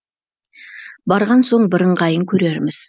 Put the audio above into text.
барған соң бір ыңғайын көрерміз